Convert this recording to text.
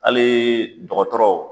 Hali dɔgɔtɔrɔ